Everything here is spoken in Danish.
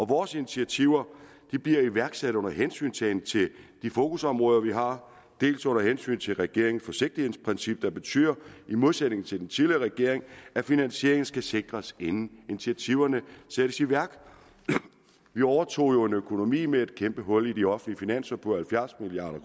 vores initiativer bliver iværksat under hensyntagen til de fokusområder vi har under hensyn til regeringens forsigtighedsprincip der betyder i modsætning til under den tidligere regering at finansieringen skal sikres inden initiativerne sættes i værk vi overtog jo en økonomi med et kæmpe hul i de offentlige finanser på halvfjerds milliard